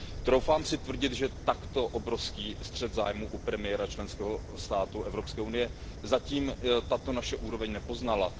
Troufám si tvrdit, že takto obrovský střet zájmů u premiéra členského státu Evropské unie zatím tato naše úroveň nepoznala.